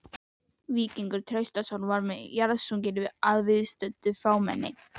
Víkingur Traustason var jarðsunginn að viðstöddu fámenni.